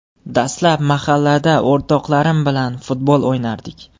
Dastlab mahallada o‘rtoqlarim bilan futbol o‘ynardik.